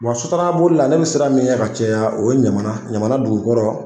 Wa sotarama boli la ne be siran min ɲɛ ka caya o ye ɲamana dugukɔrɔ